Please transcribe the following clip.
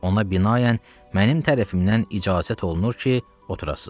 Ona binayən mənim tərəfimdən icazət olunur ki, oturasız.